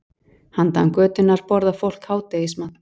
Handan götunnar borðar fólk hádegismat.